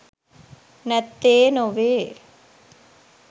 නැත්තේ නොවේ.